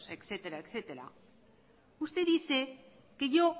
etcétera etcétera usted dice que yo